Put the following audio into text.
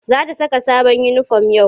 Za ta saka sabon uniform yau.